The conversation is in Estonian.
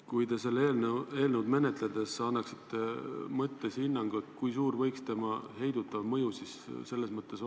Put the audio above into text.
Kui te seda eelnõu menetledes annaksite mõttes hinnangu, siis kui suur võiks tema heidutav mõju olla?